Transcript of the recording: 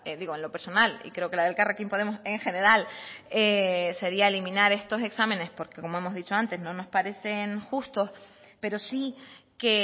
digo en lo personal y creo que la de elkarrekin podemos en general sería eliminar estos exámenes porque como hemos dicho antes no nos parecen justos pero sí que